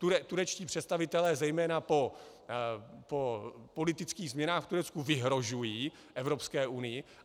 Turečtí představitelé zejména po politických změnách v Turecku vyhrožují Evropské unii.